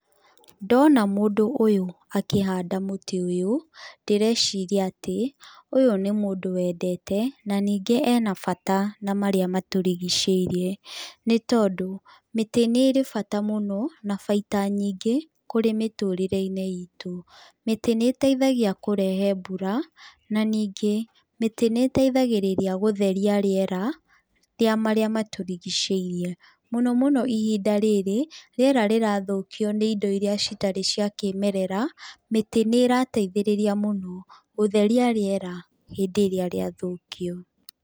Ndona mũndũ ũyũ akĩhanda mũtĩ ũyũ ndĩreciria atĩ ũyũ nĩ mũndũ wendete na ningĩ ena bata na marĩa matũrigicĩirie nĩ tondũ mĩtĩ nĩ ĩrĩ bata mũno na baita nyingĩ kũrĩ mĩtũrĩre-inĩ itũ. Mĩtĩ nĩ ĩteithagia kũrehe mbura na ningĩ mĩtĩ nĩ ĩteithagĩrĩria gũtheria rĩera rĩa marĩa matũrigicĩirie. Mũno mũno ihinda rĩrĩ, rĩera rĩrathũkio nĩ indo iria citarĩ cia kĩmerera, mĩtĩ nĩ ĩrateithereria mũno gũtheria rĩera hĩndĩ ĩrĩa rĩathũkio.